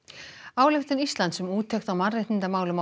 ályktun Íslands um úttekt á mannréttindamálum á